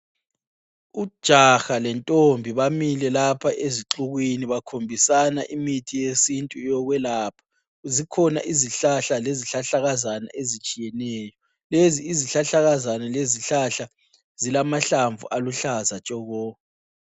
Ujaha lentombi bamile lapha ezixukwini bakhombisana imithi yesintu yokwelapha. Zikhona izihlahla lezihlahlakazana ezitshiyeneyo. Lezi izihlahlakazana lezihlahla zilamahlamvu aluhlaza tshoko.